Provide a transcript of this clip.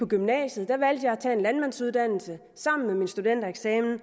gymnasiet valgte jeg at tage en landmandsuddannelse sammen med min studentereksamen